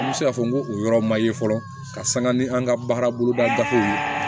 An bɛ se k'a fɔ ko o yɔrɔ ma ye fɔlɔ ka sanga ni an ka baara boloda gafew ye